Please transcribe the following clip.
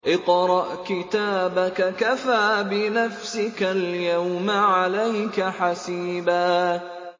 اقْرَأْ كِتَابَكَ كَفَىٰ بِنَفْسِكَ الْيَوْمَ عَلَيْكَ حَسِيبًا